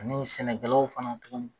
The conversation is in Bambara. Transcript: An'osɛnɛkɛlaw fana tun.